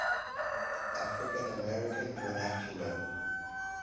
african american vernacular